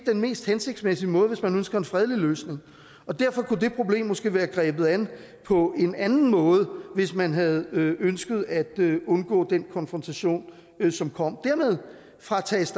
den mest hensigtsmæssige måde hvis man ønsker en fredelig løsning derfor kunne det problem måske være grebet an på en anden måde hvis man havde ønsket at undgå den konfrontation som kom dermed fratages